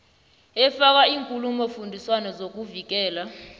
efaka iinkulumofundiswano zokuvikela